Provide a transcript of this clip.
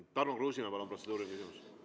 Tarmo Kruusimäe, palun, protseduuriline küsimus!